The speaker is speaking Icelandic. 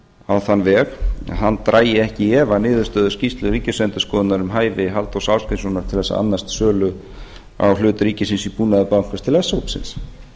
á þann veg að að dragi ekki í efa niðurstöðu skýrslu ríkisendurskoðunar um hæfi halldórs ásgrímssonar til þess að annast sölu á hlut ríkisins í búnaðarbanka til s hópsins